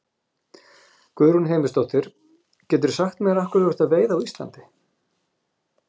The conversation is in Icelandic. Guðrún Heimisdóttir: Geturðu sagt mér af hverju þú ert að veiða á Íslandi?